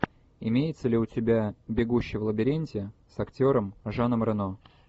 имеется ли у тебя бегущий в лабиринте с актером жаном рено